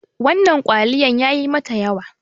wannan kwaliyan yayi mata yawa